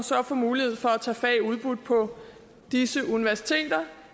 få mulighed for at tage fag udbudt på disse universiteter